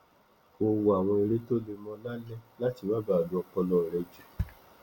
kò wo àwọn eré tó le mó lálẹ láti má baà lo ọpọlọ rẹ jù